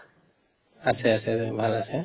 আছে আছে বাৰু ভাল আছে